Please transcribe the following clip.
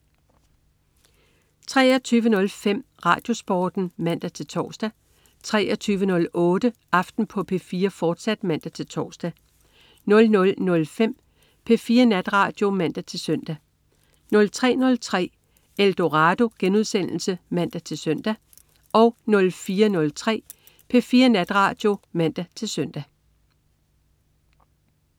23.05 RadioSporten (man-tors) 23.08 Aften på P4, fortsat (man-tors) 00.05 P4 Natradio (man-søn) 03.03 Eldorado* (man-søn) 04.03 P4 Natradio (man-søn)